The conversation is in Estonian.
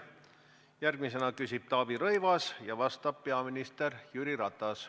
Järgmisena küsib Taavi Rõivas ja vastab peaminister Jüri Ratas.